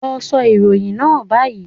Lọ sọ ìròyìn náà báyìí